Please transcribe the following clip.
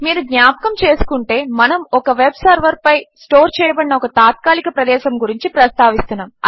మీరు జ్ఞాపకం చేసుకుంటే మనము మన వెబ్ సర్వర్పై స్టోర్ చేయబడిన ఒక తాత్కాలిక ప్రదేశము గురించి ప్రస్తావిస్తున్నాము